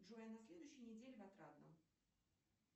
джой на следующей неделе в отрадном